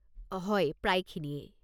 হয়, প্রায়খিনিয়েই।